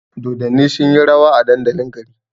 Dodanni sunyi rawa a dandalin gari